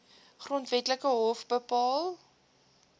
grondwetlike hof bepaal